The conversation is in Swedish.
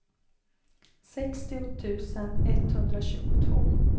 sextio tusen etthundratjugotvå